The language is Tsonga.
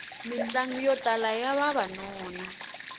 mitlangu yo tala ya vavanuna